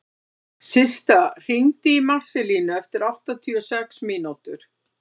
Systa, hringdu í Marselínu eftir áttatíu og sex mínútur.